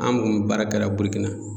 An kun mi baara kɛla Burukina